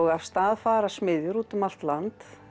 af stað fara smiðjur út um allt land